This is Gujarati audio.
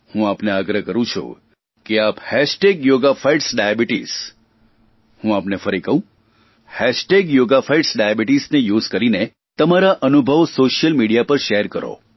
હું આપને આગ્રહ કરૂં છું કે આપ હેશટેગ યોગા ફાઇટ્સ ડાયાબીટીસ હું આપને ફરી કહું હેશટેગ યોગા ફાઇટ્સ ડાયાબીટીસ ને યુએસઇ કરીને તમારા અનુભવો સોશિયલ મીડિયા પર શેર કરો